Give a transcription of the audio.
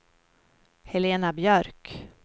Helena Björk